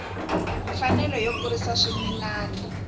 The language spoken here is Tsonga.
mfanelo yo kurisa swimila hi